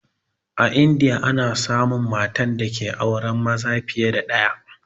A indiya ana samun matan dake auren maza fiye da ɗaya